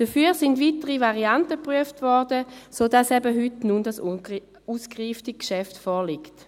Dafür wurden weitere Varianten geprüft, sodass nun heute dieses ausgereifte Geschäft vorliegt.